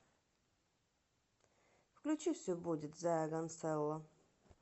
включи все будет зая гансэлло